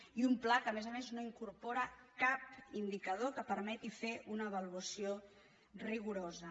i un pla que a més a més no incorpora cap indicador que permeti fer ne una avaluació rigorosa